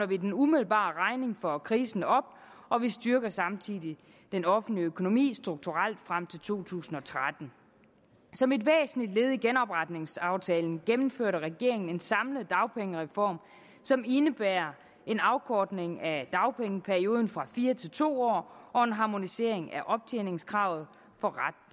vi den umiddelbare regning for krisen op og vi styrker samtidig den offentlige økonomi strukturelt frem til to tusind og tretten som et væsentligt led i genopretningsaftalen gennemførte regeringen en samlet dagpengereform som indebærer en afkortning af dagpengeperioden fra fire til to år og en harmonisering af optjeningskravet for ret